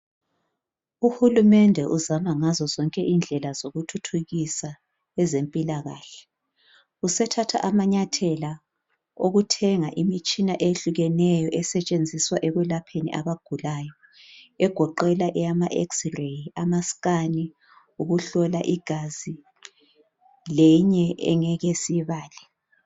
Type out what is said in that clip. Uhulumende uzama ngendlela zonke zokuthuthukisa ezempilakahle usethatha amanyathela okuthenge imitshina ehlukeneyo esetshenziswa ekwelapheni abagulayo egoqela ama x ray amascan ukuhlola igazi leyinye esingeke siyibale